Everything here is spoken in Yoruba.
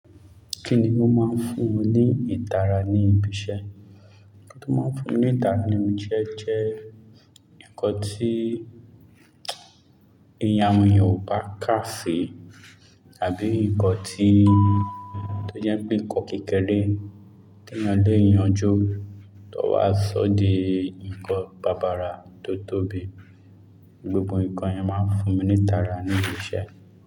Kí ni ó máa ń fún ni ìtara ní ibi iṣẹ́? Ǹjẹ́ jẹ́ nǹkan tí èèyàn mìíràn ò bá kà sí, tàbí nǹkan tí ó jẹ́ pé nǹkan kékeré tí ẹni ọ̀ le yanjú tó wá ṣódì nǹkan bábàra tó tóbi, gbogbo nǹkan yẹn máa ń fún mi ní ìtara ní ibi iṣẹ́.